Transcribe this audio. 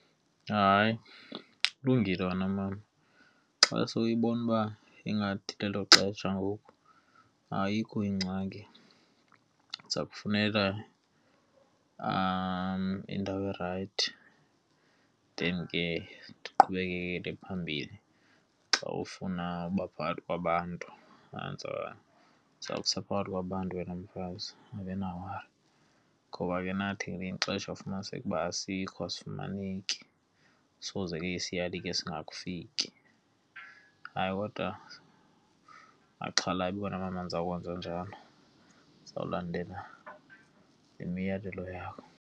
Hayi, kulungile wena mama. Xa sewuyibona uba ingathi lelo xesha ngoku ayikho ingxaki, ndiza kufunela indawo erayithi then ke ndiqhubekele phambili. Xa ufuna uba phakathi kwabantu ndiza kusa phakathi kwabantu wena mfazi, ungabi nawari. Ngoba ke nathi ngelinye ixesha ufumaniseke uba asikho, asifumaneki soze ke isiyali ke singakufiki. Hayi, kodwa ungaxhalabi wena mama ndizawukwenza njalo, ndizawulandela le miyalelo yakho.